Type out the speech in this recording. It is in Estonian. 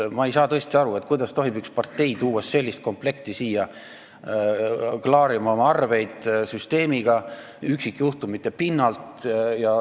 Ma ei saa tõesti aru, kuidas tohib üks partei tuua sellist komplekti siia, et üksikjuhtumite pinnalt oma arveid süsteemiga klaarida.